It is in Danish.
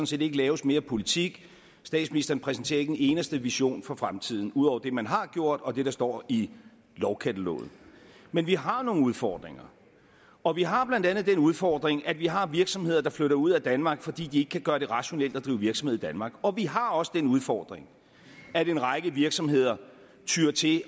set ikke laves mere politik statsministeren præsenterer ikke en eneste vision for fremtiden ud over det man har gjort og det der står i lovkataloget men vi har nogle udfordringer og vi har blandt andet den udfordring at vi har virksomheder der flytter ud af danmark fordi de ikke kan gøre det rationelt at drive virksomhed i danmark og vi har også den udfordring at en række virksomheder tyr til